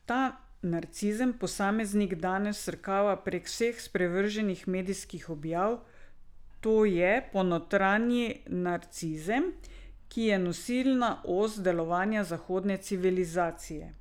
Ta narcizem posameznik danes vsrkava prek vseh sprevrženih medijskih objav, to je, ponotranji narcizem, ki je nosilna os delovanja zahodne civilizacije.